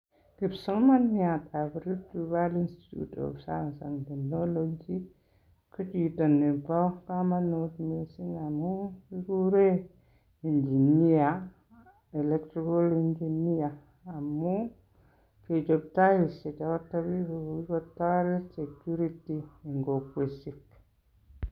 Kipsomaniatab Rift Valley Institue of Science and Technology, ko chito nebo komonut missing amun kigure engineer electrical engineer amun kechob taishechoto kota security en kokwotisiek.